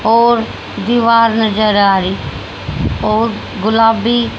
और दीवार नजर आ रहीं और गुलाबी--